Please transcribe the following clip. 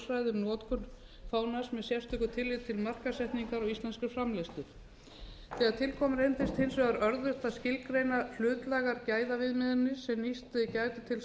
notkun fánans með sérstöku tilliti til markaðssetningar á íslenskri framleiðslu þegar til kom reyndist hins vegar örðugt að skilgreina hlutlægar gæðaviðmiðanir sem nýst gætu til þess að uppfylla þetta skilyrði